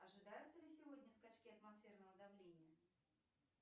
ожидаются ли сегодня скачки атмосферного давления